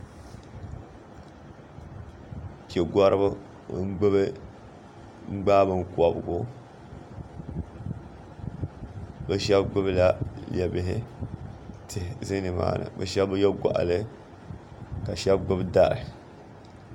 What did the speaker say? pɛgoriba gbaa binkobgu bɛ shebi gbibla lebihi tihi ʒe nimaani bɛ shebi bi ye goɣali ka shebi gbibi dari